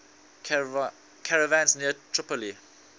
caravans near tripoli